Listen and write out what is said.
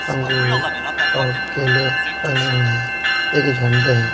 अंगूर और केले टंगे हुए हैं एक झंडे हैं।